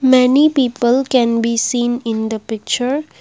many people can be seen in the picture.